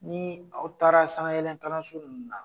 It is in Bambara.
Ni aw taara sanawɛlɛkalanso ninnu na